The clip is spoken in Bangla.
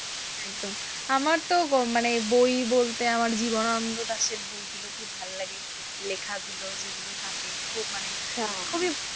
একদম আমার তো বই বলতে আমার জীবনানন্দ দাশের বইগুলো খুব ভালো লাগে, লেখাগুলো যেগুলো থাকে খুব মানে খুবই,